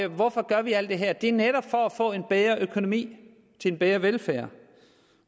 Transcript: hvorfor gør vi alt det her det er netop for at få en bedre økonomi til en bedre velfærd